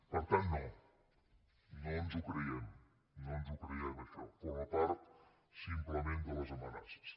per tant no no ens ho creiem no ens hom creiem això forma part simplement de les amenaces